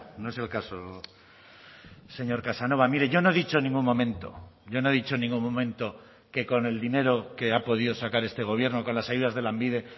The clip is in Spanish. no es el caso señor casanova mire yo no he dicho en ningún momento yo no he dicho en ningún momento que con el dinero que ha podido sacar este gobierno con las ayudas de lanbide